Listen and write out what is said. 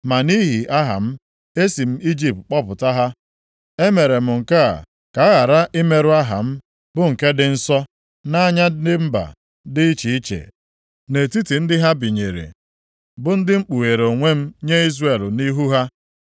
Ma nʼihi aha m, e si m Ijipt kpọpụta ha. E mere m nke a ka a ghara imerụ aha m bụ nke dị nsọ, nʼanya ndị mba dị iche iche nʼetiti ndị ha binyere, bụ ndị mkpughere onwe m nye Izrel nʼihu ha.